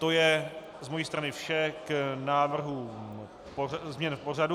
To je z mojí strany vše k návrhu změny pořadu.